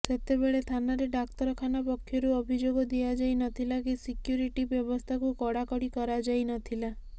ସେତେବେଳେ ଥାନାରେ ଡାକ୍ତରଖାନା ପକ୍ଷରୁ ଅଭିଯୋଗ ଦିଆଯାଇ ନଥିଲା କି ସିକ୍ୟୁରିଟି ବ୍ୟବସ୍ଥାକୁ କଡ଼ାକଡ଼ି କରାଯାଇ ନଥିଲା